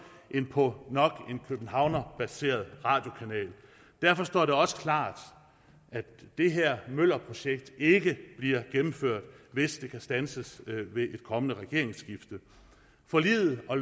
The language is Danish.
end på nok en københavnerbaseret radiokanal derfor står det også klart at det her møllerprojekt ikke bliver gennemført hvis det kan standses ved et kommende regeringsskifte forliget og